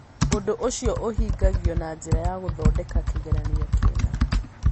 Ũndũ ũcio ũhingagio na njĩra ya gũthondeka kĩgeranio kĩna.